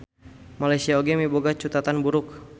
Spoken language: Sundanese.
Malaysia oge miboga cutatan buruk.